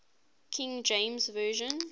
king james version